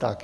Tak.